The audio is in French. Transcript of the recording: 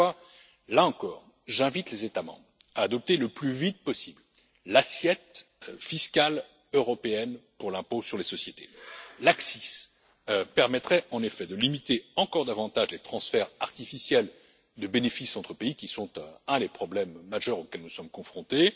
C'est pourquoi, là encore, j'invite les États membres à adopter le plus vite possible l'assiette fiscale européenne pour l'impôt sur les sociétés. L'ACCIS permettrait, en effet, de limiter encore davantage les transferts artificiels de bénéfices entre pays qui sont un des problèmes majeurs auxquels nous sommes confrontés.